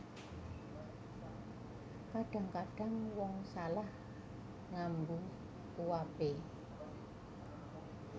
Kadhang kadhang wong salah ngambu uape